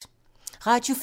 Radio 4